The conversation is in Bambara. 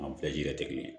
An bɛɛ jiri tɛ kelen ye